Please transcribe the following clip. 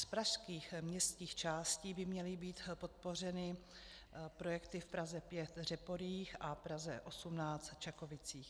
Z pražských městských částí by měly být podpořeny projekty v Praze 5 Řeporyjích a Praze 18 Čakovicích.